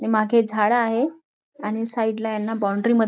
आणि मागे झाड आहे आणि साईड ला यांना बाउंड्री मध्ये --